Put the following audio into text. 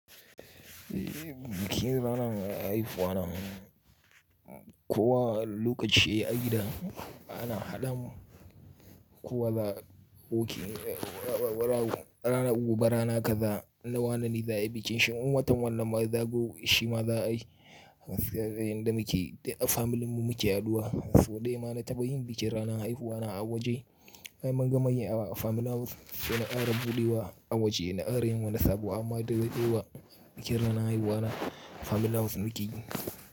Bikin rana haihuwa na kuwa lokaci a gida ana haɗa mu kuwa za'a wuke mai rana gobe rana kaza na wane ne za ayi bikin shi. Shin in watan wannan ma ya zagayo shi ma za a yi? Gaskiya dai yanda muke yi duka familin mu muke haɗuwa, sau ɗaya ma na taɓa yin bikin ranar haihuwa na a waje. Ai mun gama yi a wa family house sai na ƙara buɗewa a waje na ƙara yin wani sabuwa amma da daɗewa bikin rana haihuwa na family house muke yi.